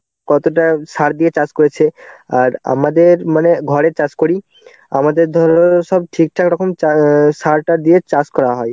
কতটা সার দিয়ে চাষ করেছে. আর আমাদের মানে ঘরের চাষ করি. আমাদের ধরো সব ঠিকঠাক রকম অ্যাঁ সার টার দিয়ে চাষ করা হয়.